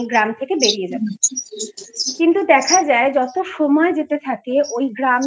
গ্রাম থেকে বেরিয়ে যাবে কিন্তু দেখা যায় যত সময় যেতে থাকে ওই গ্রামের